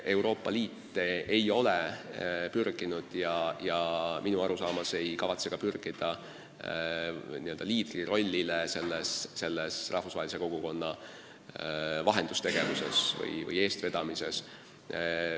Euroopa Liit ei ole pürginud ja minu arusaama järgi ka ei kavatse pürgida liidrirollile selles rahvusvahelise kogukonna vahendustegevuses või eestvedamises.